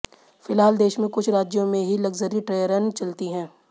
फिलहाल देश में कुछ राज्यों में ही लक्जरी टे्रन चलती हैं